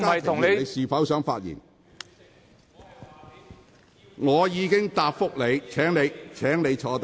張議員，我已經處理了你提出的問題，請坐下。